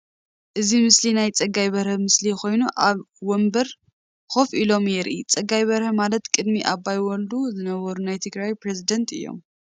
እዚ ምስሊ ናይ ፀጋይ በርሀ ምስሊ ኮይኑአብ ወምበር ኮፍ ኢሎም የርኢ። ፀጋይ በርሀ ማለት ቅድሚ አባይ ወልዱ ዝነበሩ ናይ ትግራይ ፕረዚደንት እዮም።